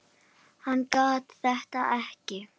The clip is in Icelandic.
Hann gat þetta ekki.